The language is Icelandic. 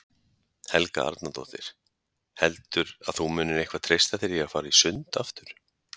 Helga Arnardóttir: Heldur að þú munir eitthvað treysta þér að fara í sund aftur?